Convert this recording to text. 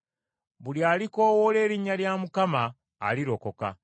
Buli alikoowoola erinnya lya Mukama alirokoka.